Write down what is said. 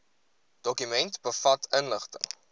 dokument bevat inligting